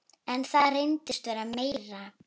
En það reynist vera meira.